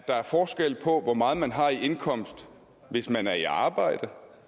at der er forskel på hvor meget man har i indkomst hvis man er i arbejde